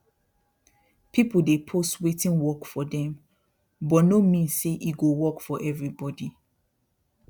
people dey post wetin work for them but no mean say e go work for everybody